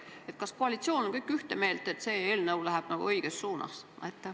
Kas kogu koalitsioon on ühte meelt, et see eelnõu läheb õiges suunas?